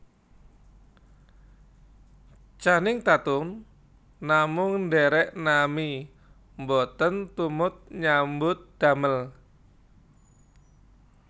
Channing Tatum namung ndherek nami mboten tumut nyambut damel